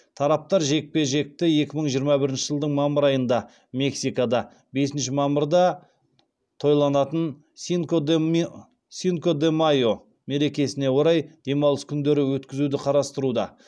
тараптар жекпе жекті екі мың жиырма бірінші жылдың мамыр айында мексикада бесінші мамырда тойланатын синко де майо мерекесіне орай демалыс күндері өткізуді қарастыруда